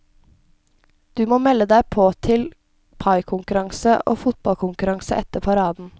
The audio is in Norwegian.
Du må melde deg på til paikonkurranse og fotballkonkurranse etter paraden.